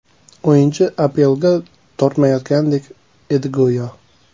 O‘yinchi APLga tortmayotgandek edi go‘yo.